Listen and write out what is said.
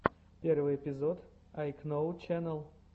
первый эпизод айкноу ченэл